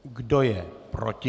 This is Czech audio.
Kdo je proti?